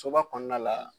Soba kɔnɔna la